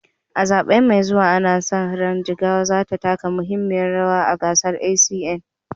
A zaɓe mai zuwa, ana sa ran Jigawa za ta taka muhimmiyar rawa ga ACN.